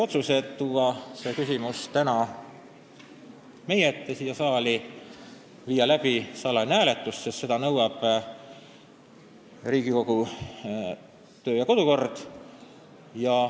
Otsustati tuua see küsimus tänaseks meie ette siia saali ja korraldada salajane hääletus, sest seda nõuab Riigikogu töö- ja kodukord.